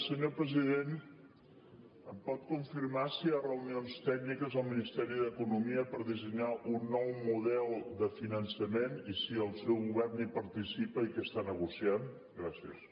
senyor president em pot confirmar si hi ha reunions tècniques al ministeri d’economia per dissenyar un nou model de finançament i si el seu govern hi participa i què està negociant gràcies